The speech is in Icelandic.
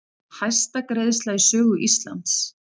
Hæsta greiðsla í sögu Íslands